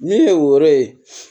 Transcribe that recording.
Min ye o yɔrɔ ye